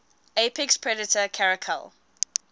apex predator caracal